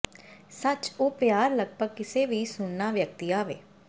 ਸੱਚ ਉਹ ਪਿਆਰ ਲਗਭਗ ਕਿਸੇ ਵੀ ਸੁਣਨਾ ਵਿਅਕਤੀ ਆਵੇ